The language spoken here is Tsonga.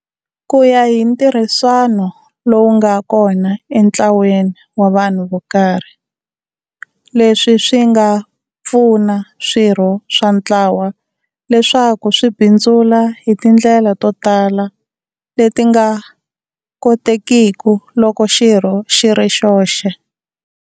Kuya hi ntirhiswano lowu nga kona e ntlwaweni wa vhanhu vokarhi, leswi swi nga pfuna swirho swa ntlawa leswaku swi bindzula hi tindlela to tala leti nga kotekiku loko xirho xiri xoxe.